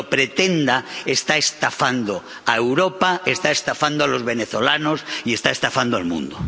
Y quien lo pretenda está estafando a Europa, está estafando a los venezolanos y está estafando al mundo.